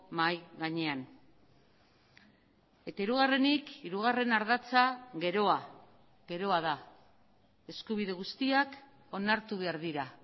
mahai gainean eta hirugarrenik hirugarren ardatza geroa geroa da eskubide guztiak onartu behar dira